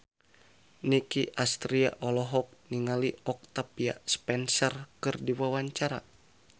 Nicky Astria olohok ningali Octavia Spencer keur diwawancara